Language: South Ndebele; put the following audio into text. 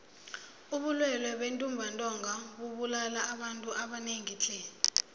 ubulwele bentumbantonga bubulala abantu abanengi tle